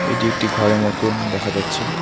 এটি একটি ঘরের মতন দেখা যাচ্ছে।